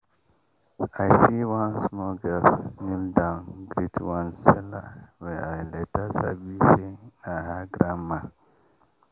i see one small girl kneel down greet one seller wey i later sabi say na her grandma.